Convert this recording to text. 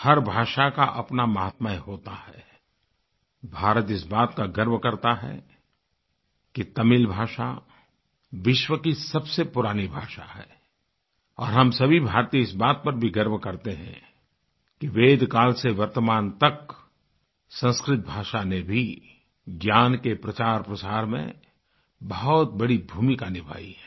हर भाषा का अपना माहात्म्य होता है भारत इस बात का गर्व करता है कि तमिल भाषा विश्व की सबसे पुरानी भाषा है और हम सभी भारतीय इस बात पर भी गर्व करते हैं किवेदकाल से वर्तमान तक संस्कृत भाषा ने भी ज्ञान के प्रचारप्रसार में बहुत बड़ी भूमिका निभाई है